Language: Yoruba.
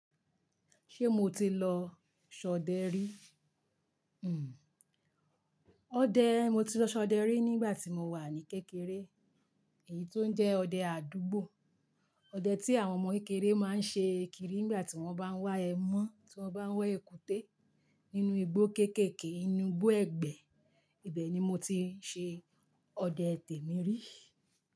Ṣé mo ti lọ ṣọdẹ rí? Hmm. Ọdẹ, mo ti lọ ṣọdẹ rí nígbà tí mo wà ní kékeré. Èyí tó ń jẹ́ ọdẹ àdúgbò. Ọdẹ tí àwọn ọmọ kékeré máa ń ṣe kiri nígbà tí wọ́n bá ń wá ẹmọ́, tí wọ́n bá ń wá èkúté nínú igbó kéékèèké, inú igbó ẹ̀gbé. Ibẹ̀ ni mo ti ṣe ọdẹ tẹ̀mí rí.